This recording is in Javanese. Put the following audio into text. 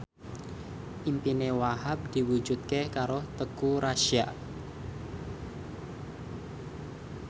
impine Wahhab diwujudke karo Teuku Rassya